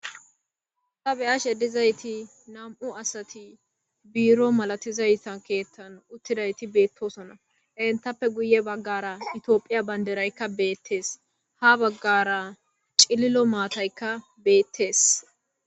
Ta beyashe de'izasi nam'u asat biro masatizaysa kethan utidayt betosona, entappe guye bagara tophiya Bandrayka betes. Ha bagara cililo matayka betes.